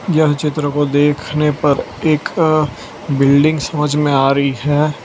यह चित्र को देखने पर एक बिल्डिंग समझ में आ रही है।